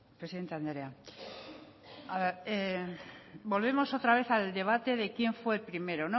presidente andrea volvemos otra vez al debate de quien fue primero